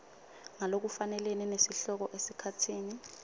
ngalokufanele nesihloko esikhatsini